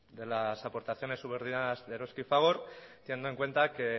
de las aportaciones subordinadas de eroski y fagor teniendo en cuenta que